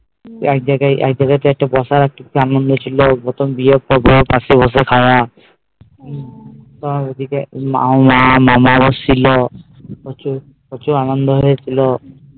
একজায়গায় বসে কি আনন্দ ছিল প্রথম বিয়ে তার সাথে খাওয়া হম মা মামা ছিল প্রচুর প্রচুর আনন্দ হৈছিল